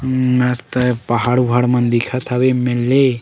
अम्म मस्त पहाड़ वाहड़ मन दिखत हवे ये मेर ले--